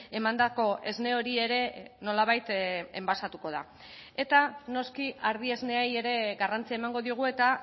emandako esne hori ere nolabait enbasatuko da eta noski ardi esneei ere garrantzia emango diogu eta